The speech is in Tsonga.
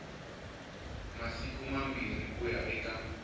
masiku mambirhi ku ya eka